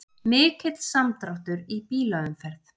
Mikill samdráttur í bílaumferð